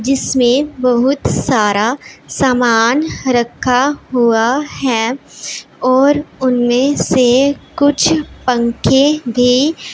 जिसमें बहुत सारा सामान रखा हुआ है और उनमें से कुछ पंखे भी--